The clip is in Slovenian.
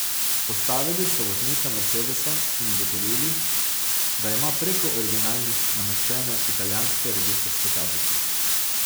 Ustavili so voznika mercedesa in ugotovili, da ima preko originalnih nameščene italijanske registrske tablice.